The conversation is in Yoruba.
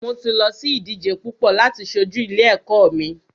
Mo ti lọ sí ìdíje púpọ láti ṣojú ilé ẹ̀kọ́ mi.